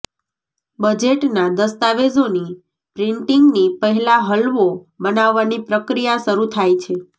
બજેટના દસ્તાવેજોની પ્રિન્ટિંગની પહેલા હલવો બનાવવાની પ્રક્રિયા શરૂ થાય છે